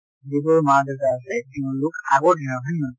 যিবোৰ মা দেউতা আছে সিহঁত লোক আগৰ দিনৰ হয় নে নহয়।